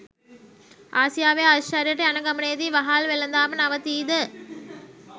ආසියාවේ අශ්චර්යයට යන ගමනේදී වහල් වෙළදාම නවතීද?